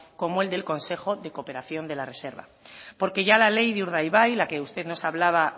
como el del consejo de cooperación de la reserva porque ya la ley de urdaibai la que usted nos hablaba